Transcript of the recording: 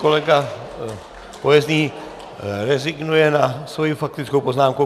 Kolega Pojezný rezignuje na svoji faktickou poznámku.